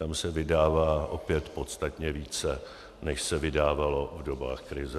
Tam se vydává opět podstatně více, než se vydávalo v dobách krize.